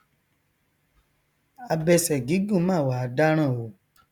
abẹsẹ gigun mà wá dáràn o